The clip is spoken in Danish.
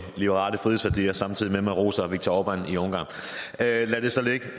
liberale frihedsværdier samtidig med at man roser viktor orbán i ungarn lad det så ligge et